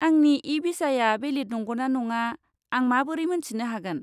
आंनि इ बिसाया भेलिद नंगौना नङा आं माबोरै मोन्थिनो हागोन?